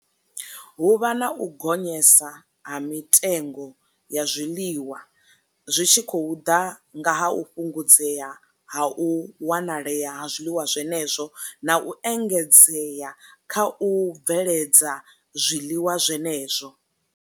Hu vha na u gonyesa ha mitengo ya zwiḽiwa, zwi tshi khou ḓa nga ha u fhungudzea ha u wanalea ha zwiḽiwa zwenezwo na u engedzea kha u bveledza zwiḽiwa zwenezwo.